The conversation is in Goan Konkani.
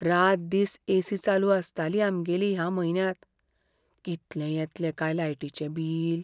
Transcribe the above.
रातदीस एसी चालू आसताली आमगेली ह्या म्हयन्यांत. कितलें येतलें काय लायटीचें बील?